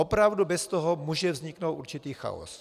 Opravdu bez toho může vzniknout určitý chaos.